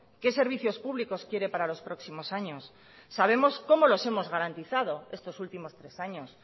qué servicios públicos quiere para los próximos años sabemos cómo los hemos garantizados estos últimos tres años